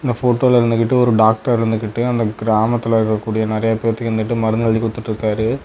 போட்டோல இருந்துகிட்டு ஒரு டாக்டரு இருந்துகிட்டு அந்த கிராமத்தில் இருக்கக்கூடிய நறைய பேத்துக்கு மருந்து எழுதி கொடுத்துட்டுருக்காரு.